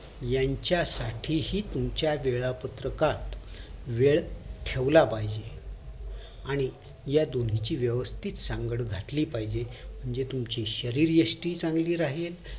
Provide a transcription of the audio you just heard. यांच्यासाठीहि तुमच्या वेळापत्रकात वेळ ठेवला पाहिजे आणि या दोन्ही ची वेवस्तीथ सांगड घातली पाहिजे म्हणजे तुमची शरीरयष्टी चांगली राहील